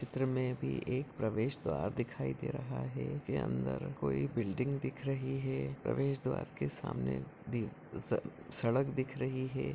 चित्र मे भी एक प्रवेश द्वार दिखाई दे रहा है के अंदर कोई बिल्डिंग दिख रही है प्रवेशद्वार के सामने दी स सड़क दिख रही है।